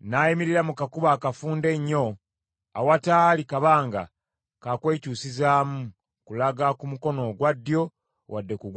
n’ayimirira mu kakubo akafunda ennyo, awataali kabanga ka kwekyusizaamu kulaga ku mukono ogwa ddyo wadde ku gwa kkono.